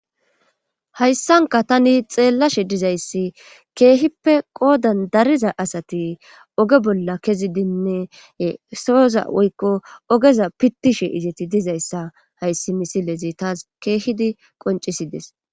hayssanka tani xeellashe dizayssi keehippe qoodan dariza asati oge bolla kezidinne sooza woykko ogeza pittishe izeti dizayssa hayssi misilezi taas keehidi qoncisides.